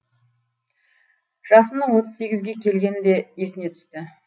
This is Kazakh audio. жасының отыз сегізге келгені де есіне түсті